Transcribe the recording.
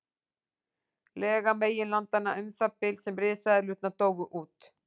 Lega meginlandanna um það bil sem risaeðlurnar dóu út.